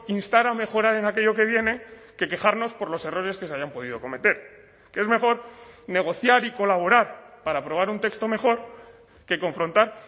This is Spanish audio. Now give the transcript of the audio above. instar a mejorar en aquello que viene que quejarnos por los errores que se hayan podido cometer que es mejor negociar y colaborar para aprobar un texto mejor que confrontar